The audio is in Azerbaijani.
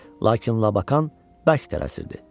Lakin Lakan bərk tələsirdi.